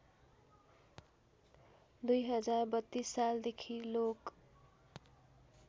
२०३२ सालदेखि लोक